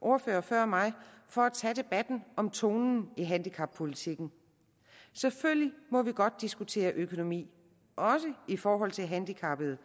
ordførere før mig for at tage debatten om tonen i handicappolitikken selvfølgelig må vi godt diskutere økonomi også i forhold til handicappede